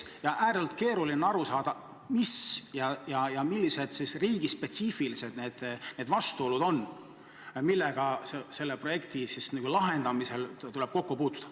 Kuid ääretult keeruline on aru saada, mis ja millise riigi spetsiifilised need vastuolud on, millega selle projekti lahendamisel tuleb kokku puutuda.